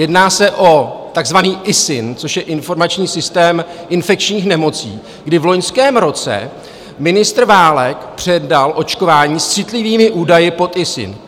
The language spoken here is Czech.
Jedná se o takzvaný ISIN, což je informační systém infekčních nemocí, kdy v loňském roce ministr Válek předal očkování s citlivými údaji pod ISIN.